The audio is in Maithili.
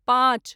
पॉंच